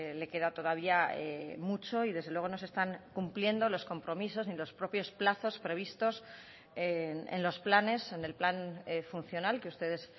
le queda todavía mucho y desde luego no se están cumpliendo los compromisos ni los propios plazos previstos en los planes en el plan funcional que ustedes